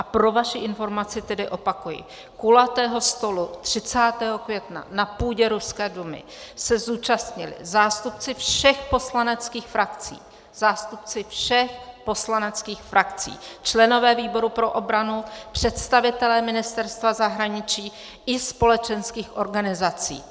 A pro vaši informaci tedy opakuji: Kulatého stolu 30. května na půdě ruské Dumy se zúčastnili zástupci všech poslaneckých frakcí - zástupci všech poslaneckých frakcí - členové výboru pro obranu, představitelé Ministerstva zahraničí i společenských organizací.